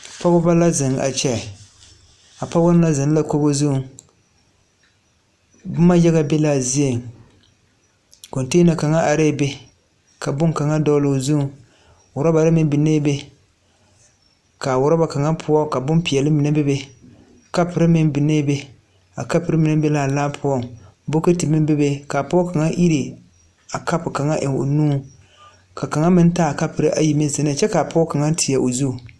Pɔgeba la zeŋ a kyɛ a pɔgeba mine zeŋ la kogi zuŋ boma yaga be la a zieŋ konteena kaŋa arɛɛ be ka boŋkaŋa dogle o zuŋ urabare meŋ biŋee be ka uraba kaŋa poɔ ka bompeɛle mine be be kapore meŋ biŋee be a kapore mine be la a laa poɔ bukote meŋ bebe ka pɔge ka iri a kapore kaŋa eŋ o nuŋ ka kaŋa meŋ iri a kapo kaŋa eŋ o nuŋ ka kaŋa meŋ taa kapore ayi zeŋ ne kyɛ ka a pɔge kaŋa teɛ o zu.